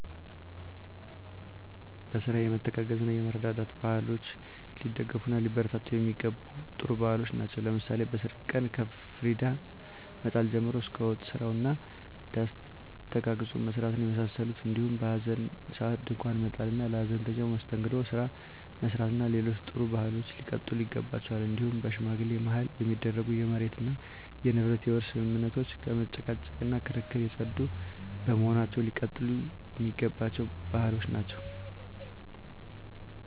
በስራ የመተጋገዝ እና የመረዳዳት ባህሎች ሊደገፍ እና ሊበረታቱ የሚገባቸም ጥሩ ባህሎች ናቸው። ለምሳሌ በሰርግ ቀን ከፍሪዳ መጣል ጀምሮ እስከ ወጥ ስራው እና ዳስ ተጋግዞ መስራትን የመሳሰሉት እንዲሁም በሀዘን ሰአት ድንኳን መጣል እና ለሀዘንተኛው የመስተንግዶ ስራ መስራት እና ሌሎችም ጥሩ ባህሎች ሊቀጥሉ ይገባቸዋል። እንዲሁም በሽማግሌ ማህል የሚደረጉ የመሬት እና የንብረት የውርስ ስምምነቶች ከመጨቃጨቅ እና ከክርክር የፀዱ በመሆናቸው ሊቀጥሉ የሚገባቸው ባህሎች ናቸው።